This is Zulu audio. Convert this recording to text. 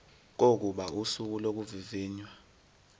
kokuba usuku lokuvivinywa